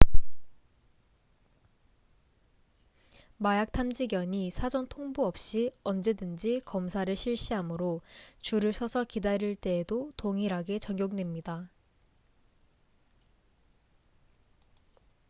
마약 탐지견이 사전 통보 없이 언제든지 검사를 실시하므로 줄을 서서 기다릴 때에도 동일하게 적용됩니다